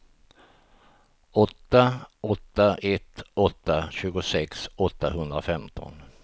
åtta åtta ett åtta tjugosex åttahundrafemton